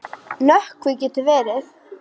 Nökkvi getur verið